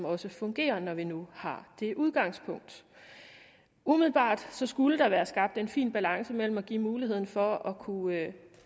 også fungerer når vi nu har det udgangspunkt umiddelbart skulle der være skabt en fin balance mellem at give mulighed for at kunne